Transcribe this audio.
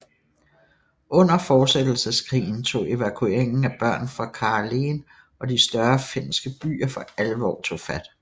Under Fortsættelseskrigen tog evakueringen af børn fra Karelen og de større finske byer for alvor tog fart